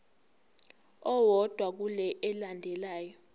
owodwa kule elandelayo